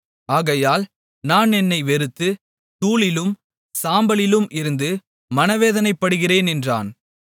ஆகையால் நான் என்னை வெறுத்து தூளிலும் சாம்பலிலும் இருந்து மனவேதனைப்படுகிறேன் என்றான்